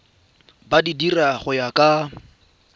di dira go ya ka